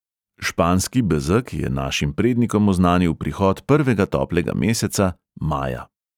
Španski bezeg je našim prednikom oznanil prihod prvega toplega meseca, maja.